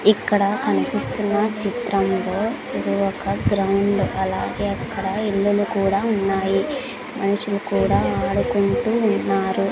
ఇక్కడ కన్పిస్తున్న చిత్రంలో ఇది ఒక గ్రౌండ్ అలాగే అక్కడ ఇల్లులు కూడా ఉన్నాయి మనుషులు కూడా ఆడుకుంటూ ఉన్నారు.